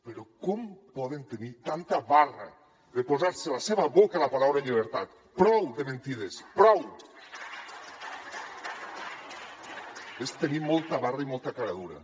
però com poden tenir tanta barra de posar se a la seva boca la paraula llibertat prou de mentides prou molta barra i moltes penques